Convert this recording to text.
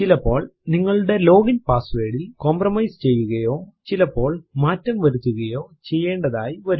ചിലപ്പോൾ നിങ്ങളുടെ ലോഗിൻ പാസ്വേർഡിൽ കംപ്രമൈസ് ചെയ്യുകയോ ചിലപ്പോൾ മാറ്റം വരുത്തുകയോ ചെയ്യേണ്ടതായി വരും